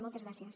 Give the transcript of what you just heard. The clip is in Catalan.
moltes gràcies